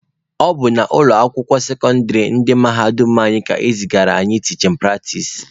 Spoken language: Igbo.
Ọ bụ na ụlọ akwụkwọ sekọndịrị ndị mahadum anyị ka e zigara anyị tichin pratis.